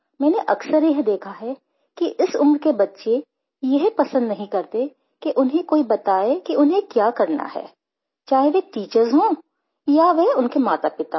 मैंने अक्सर यह देखा है कि इस उम्र के बच्चे यह पसंद नहीं करते कि उन्हें कोई बताए कि उन्हें क्या करना है चाहे वे टीचर्स हों या वे उनके मातापिता हों